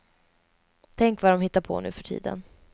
Tänk vad dom hittar på nu för tiden.